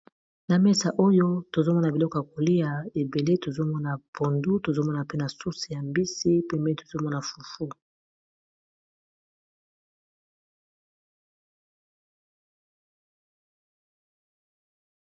na mesa oyo tozomona biloko ya kolia ebele tozomona pondu tozomona pe na sousi ya mbisi pembe tozomona fufu